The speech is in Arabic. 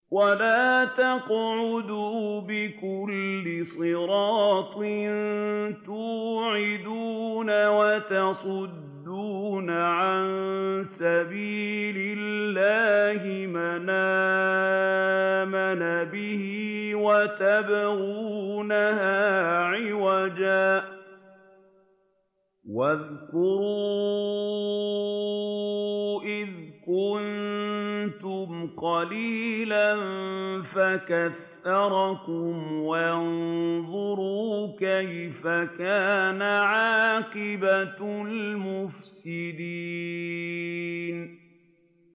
وَلَا تَقْعُدُوا بِكُلِّ صِرَاطٍ تُوعِدُونَ وَتَصُدُّونَ عَن سَبِيلِ اللَّهِ مَنْ آمَنَ بِهِ وَتَبْغُونَهَا عِوَجًا ۚ وَاذْكُرُوا إِذْ كُنتُمْ قَلِيلًا فَكَثَّرَكُمْ ۖ وَانظُرُوا كَيْفَ كَانَ عَاقِبَةُ الْمُفْسِدِينَ